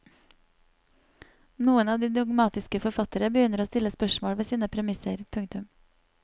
Noen av de dogmatiske forfattere begynner å stille spørsmål ved sine premisser. punktum